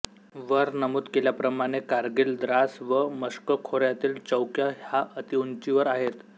वर नमूद केल्याप्रमाणे कारगिल द्रास व मश्को खोऱ्यातील चौक्या ह्या अतिउंचीवर आहेत